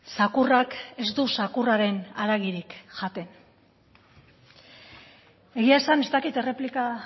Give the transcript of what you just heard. zakurrak ez du zakurraren haragirik jaten egia esan ez dakit erreplika